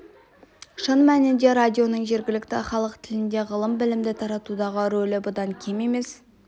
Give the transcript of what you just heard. шын мәнінде радионың жергілікті халық тілінде ғылым-білімді таратудағы рөлі бұдан кем емес